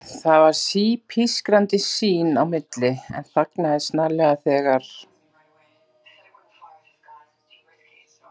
Það var sí-pískrandi sín á milli, en þagnaði snarlega þegar